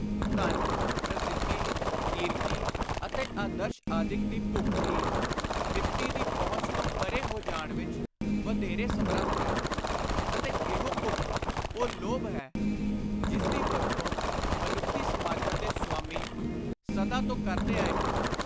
ਧਨ, ਪ੍ਰਸਿੱਧੀ, ਕੀਰਤੀ ਅਤੇ ਆਦਰਸ਼ ਆਦਿਕ ਦੀ ਭੁੱਖ ਹੀ ਤ੍ਰਿਪਤੀ ਦੀ ਪਹੁੰਚ ਤੋਂ ਪਰੇ ਹੋ ਜਾਣ ਵਿਚ ਵਧੇਰੇ ਸਮਰੱਥ ਹੈ ਅਤੇ ਇਹੋ ਭੁੱਖ ਉਹ ਲੋਭ ਹੈ ਜਿਸਦੀ ਵਰਤੋਂ ਮਨੁੱਖੀ ਸਮਾਜਾਂ ਦੇ ਸੁਆਮੀ ਸਦਾ ਤੋਂ ਕਰਦੇ ਆਏ ਹਨ।